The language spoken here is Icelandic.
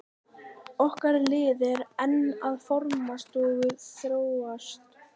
Okkar lið er enn að formast og þróast.